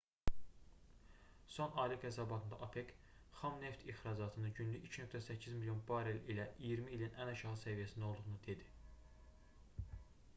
son aylıq hesabatında opec xam neft ixracatının günlük 2,8 milyon barel ilə iyirmi ilin ən aşağı səviyyəsində olduğunu dedi